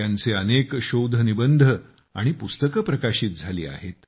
त्यांचे अनेक शोधनिबंध आणि पुस्तके प्रकाशित झाली आहेत